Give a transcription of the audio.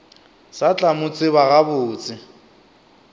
sa tla mo tseba gabotse